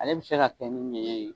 Ale bi se ka kɛ ni ɲɛɲɛ ye